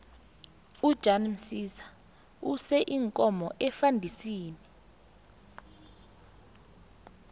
ujan msiza use iinkomo efandisini